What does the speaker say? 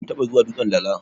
kun taba zuwa dutsen Dala?